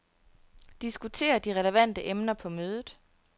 Diskuter de relevante emner på mødet.